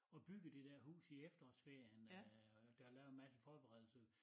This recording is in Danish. Og byggede det dér hus i efterårsferien øh og der lavede en masse forberedelse